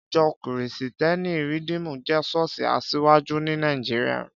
Ìjọ́ kìrìsítẹ́nì Rìdímù jẹ́ ṣọ́ọ̀ṣì asiwaju ní Nàìjíríà